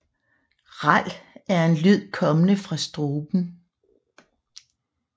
Ral er en lyd kommende fra struben